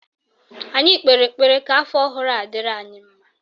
Anyị kpere ekpere ka afọ ọhụrụ a dịrị anyị mma